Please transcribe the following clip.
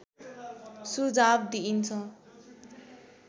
सुझाव दिइन्छ